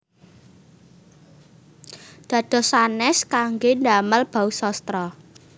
Dados sanès kanggé ndamel bausastra